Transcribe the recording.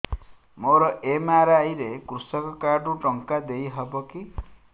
ମୋର ଏମ.ଆର.ଆଇ ରେ କୃଷକ କାର୍ଡ ରୁ ଟଙ୍କା ଦେଇ ହବ କି